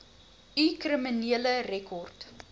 u kriminele rekord